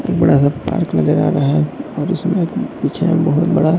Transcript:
एक बड़ा सा पार्क नज़र आ रहा है और उसमें एक पीछे में बहोत बड़ा--